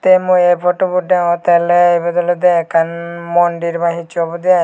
te mui ei photobot degongotte ole ibit olode ekkan mondir ba hichu obode ai.